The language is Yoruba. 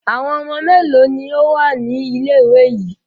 Àwọn ọmọ mélòó ni ó wà ní ilé-ìwé yìí?